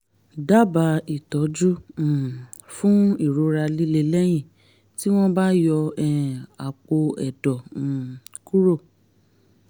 dábàá ìtọ́jú um fún ìrora líle lẹ́yìn tí wọ́n bá yọ um àpò ẹ̀dọ̀ um kúrò